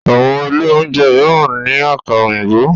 Àwọn ilé oúnjẹ míràn ní Àkàrà òyìnbó.